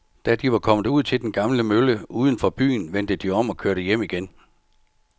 Da de var kommet ud til den gamle mølle uden for byen, vendte de om og kørte hjem igen.